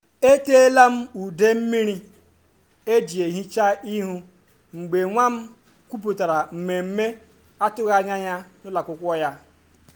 e ṭeela m ude mmiri eji ehicha ihu mgbe nwa m kwupụtara mmemme atụghị anya ya n’ụlọ akwụkwọ ya.”